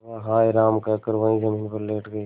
वह हाय राम कहकर वहीं जमीन पर लेट गई